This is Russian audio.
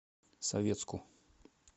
советску